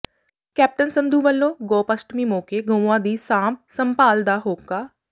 captain Sandhu ਵੱਲੋਂ ਗੋਪ ਅਸ਼ਟਮੀ ਮੌਕੇ ਗਊਆਂ ਦੀ ਸਾਂਭ ਸੰਭਾਲ ਦਾ ਹੋਕਾ